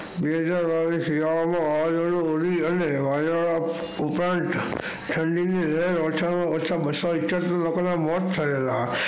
બે હજાર બાવીસ શિયાળા માં વાવાજોડું અને વાદળા ઉપરાંત ઠંડી ની ઓછા માં ઓછા બસો છયાસી લોકો ના મોત થયેલા.